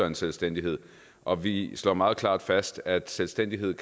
en selvstændighed og vi slår meget klart fast at selvstændighed